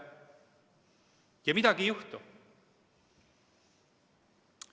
Ja midagi ei juhtu.